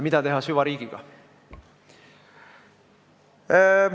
Mida teha süvariigiga?